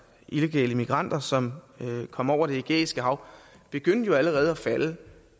illegale migranter som kommer over det ægæiske hav begyndte jo allerede at falde